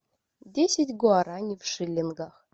десять гуарани в шиллингах